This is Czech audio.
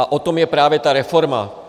A o tom je právě ta reforma.